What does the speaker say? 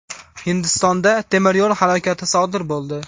Hindistonda temir yo‘l halokati sodir bo‘ldi.